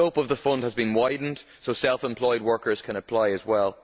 The scope of the fund has been widened so self employed workers can apply as well.